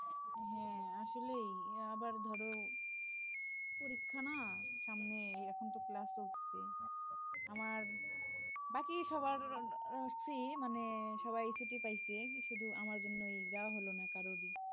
হ্যাঁ আসলেই আবার ধর পরীক্ষা না সামনে এখনতো ক্লাস চলছে আমার বাকি সবার আসে মানে সবাই ছুটি পাইছে শুধু আমার জন্যই যাওয়া হলো না কারোর ই।